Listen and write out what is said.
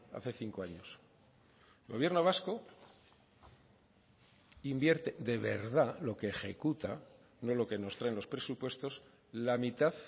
hace cinco años el gobierno vasco invierte de verdad lo que ejecuta no lo que nos trae en los presupuestos la mitad